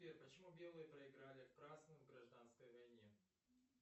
сбер почему белые проиграли красным в гражданской войне